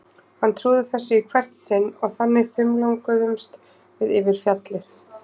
Hann trúði þessu í hvert sinn og þannig þumlunguðumst við yfir fjallið.